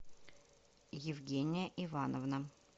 евгения ивановна